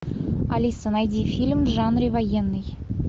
алиса найди фильм в жанре военный